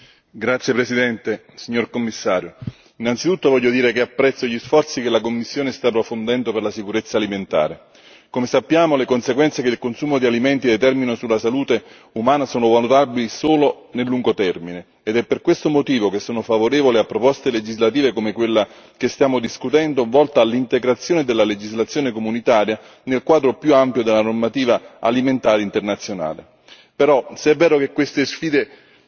Signora Presidente, onorevoli colleghi, Commissario, innanzitutto voglio dire che apprezzo gli sforzi che la Commissione sta profondendo per la sicurezza alimentare. Come sappiamo, le conseguenze che il consumo di alimenti determina sulla salute umana sono valutabili solo nel lungo termine ed è per questo motivo che sono favorevole a proposte legislative come quella che stiamo discutendo, volta all'integrazione della legislazione comunitaria nel quadro più ampio della normativa alimentare internazionale.